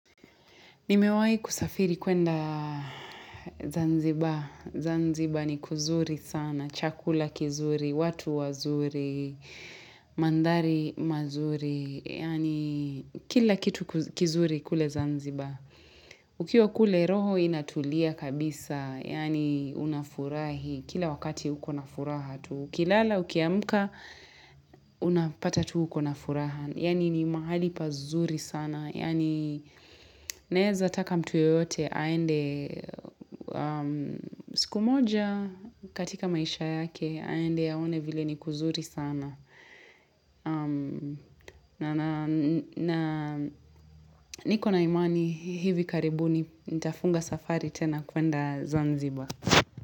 Nimewai kusafiri kwenda Zanzibar. Zanzibar ni kuzuri sana. Chakula kizuri, watu wazuri, mandari mazuri. Yaani kila kitu kizuri kule Zanzibar. Ukiwa kule roho inatulia kabisa. Yaani unafurahi. Kila wakati uko na furaha tuu. uKilala, ukiamka, unapata tu ukona furaha. Yaani ni mahali pazuri sana. Yaani naeza taka mtu yeyote, aende siku moja katika maisha yake, aende aone vile ni kuzuri sana. Na niko na imani hivi karibu nitafunga safari tena kwenda Zanzibar.